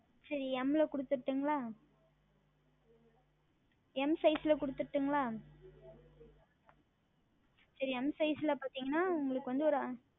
சரி M ல கொடுத்தரட்டுமா M Size ல கொடுத்தரட்டுமா சரி M Size ல பார்த்தீர்கள் என்றால்